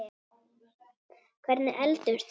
Hvernig eldumst við?